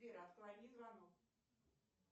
сбер отклони звонок